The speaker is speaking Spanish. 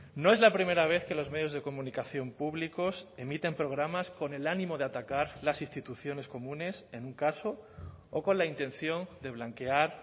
no es la primera vez que los medios de comunicación públicos emiten programas con el ánimo de atacar las instituciones comunes en un caso o con la intención de blanquear